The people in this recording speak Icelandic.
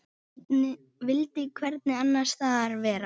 Vildi hvergi annars staðar vera.